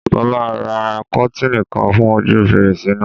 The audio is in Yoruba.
Mo máa ra kọ́tìnì kan fún ojú fèrèsé náà.